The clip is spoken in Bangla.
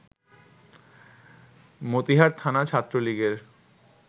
মতিহার থানা ছাত্রলীগের